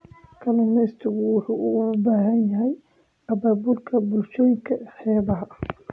Kalluumeysigu wuxuu u baahan yahay abaabulka bulshooyinka xeebaha.